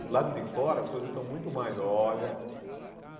Por o lado de fora, as coisas estão muito mais olha.